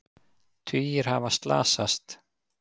Tugir hafa slasast